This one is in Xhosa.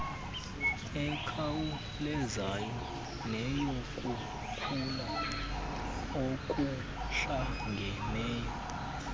ekhawulezayo neyokukhula okuhlangeneyo